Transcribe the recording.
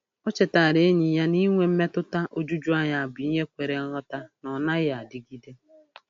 O chetaara enyi ya na inwe mmetụta ojuju anya bụ ihe kwere nghọta na ọ naghị adịgide.